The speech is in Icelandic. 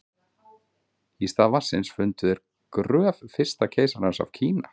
í stað vatnsins fundu þeir gröf fyrsta keisarans af kína